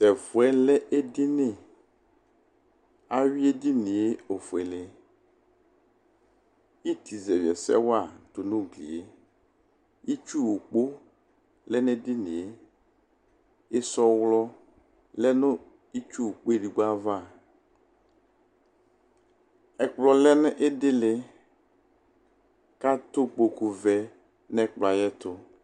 Tɛfuɛ lɛ ediniAwui edinie ofuele Iti zɛviɛsɛwa tunu uglieItsu okpo lɛ nedinieIsɔɣlɔ lɛ nʋ itsu ukpoedigbo'avaƐkplɔ lɛnu idiliKatɛ ukpoku vɛ nɛklɔe eyɛtu